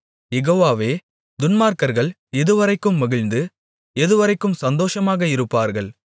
யெகோவாவே துன்மார்க்கர்கள் எதுவரைக்கும் மகிழ்ந்து எதுவரைக்கும் சந்தோஷமாக இருப்பார்கள்